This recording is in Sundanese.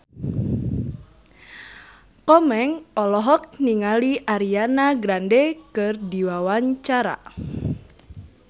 Komeng olohok ningali Ariana Grande keur diwawancara